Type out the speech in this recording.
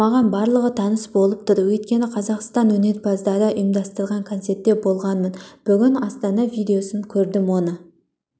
маған барлығы таныс болып тұр өйткені қазақстан өнерпаздары ұйымдастырған концертте болғанмын бүгін астана видеосын көрдім оны